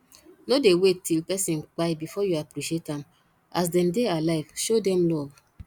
no dey wait till person kpai before you appreciate am as dem dey alive show dem love